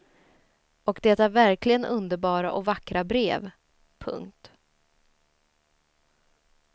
Och det är verkligen underbara och vackra brev. punkt